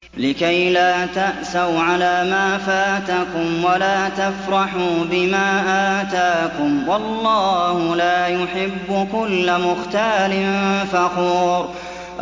لِّكَيْلَا تَأْسَوْا عَلَىٰ مَا فَاتَكُمْ وَلَا تَفْرَحُوا بِمَا آتَاكُمْ ۗ وَاللَّهُ لَا يُحِبُّ كُلَّ مُخْتَالٍ فَخُورٍ